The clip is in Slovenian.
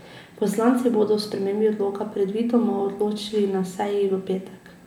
Poslanci bodo o spremembi odloka predvidoma odločali na seji v petek.